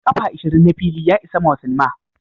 kafa ishirin na fili ya isa mawa cinema.